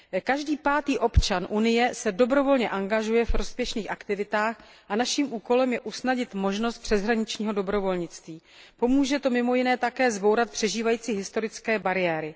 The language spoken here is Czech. Každý pátý občan Unie se dobrovolně angažuje v prospěšných aktivitách a naším úkolem je usnadnit možnost přeshraničního dobrovolnictví. Pomůže to mimo jiné také zbourat přežívající historické bariéry.